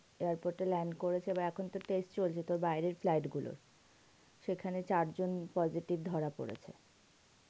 airport এর line করেছে এখন থেকে test চলবে তোর বাইরের flight গুলোর সেখানে চার জন positive ধরা পড়েছে